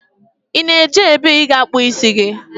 Ị na-eje ebe ị ga-akpụ isi gị?